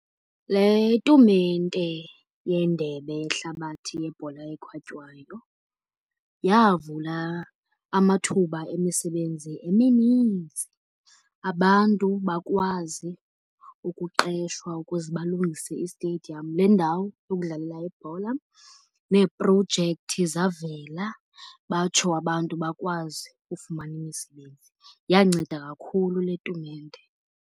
Le tumente yeNdebe yeHlabathi yeBhola eKhatywayo yavula amathuba emisebenzi emininzi. Abantu bakwazi ukuqeshwa ukuze balungise istediyamu le ndawo yokudlalela ibhola, neeprojekthi zavela batsho abantu bakwazi ufumana imisebenzi. Yanceda kakhulu le tumente.